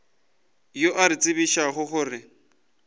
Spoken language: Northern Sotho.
yo a re tsebišago gore